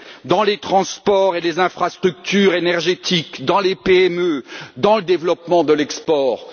dans les transports et les infrastructures énergétiques, dans les PME, dans le développement des exportations.